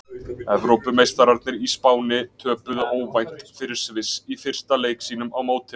Evrópumeistararnir í Spáni töpuðu óvænt fyrir Sviss í fyrsta leik sínum á mótinu.